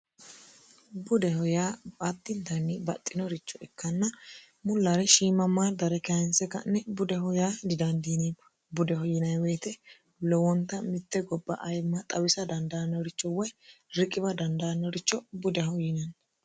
budeho yaa addinitanni baxxinoricho ikkanna mullaari shiimammaadare kayinse ka'ne budeho yaa didandiinemo budeho yiinemo woyte lowonta mitte gobba ayimma xawisa dandaannoricho woy riqiwa dandaannoricho budeho yiinanni